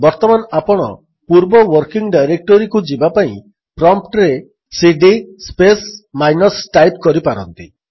ବର୍ତ୍ତମାନ ଆପଣ ପୂର୍ବ ୱର୍କିଙ୍ଗ୍ ଡାଇରେକ୍ଟୋରୀକୁ ଯିବାପାଇଁ ପ୍ରମ୍ପ୍ଟରେ ସିଡି ସ୍ପେସ୍ ମାଇନସ୍ ଟାଇପ୍ କରିପାରନ୍ତି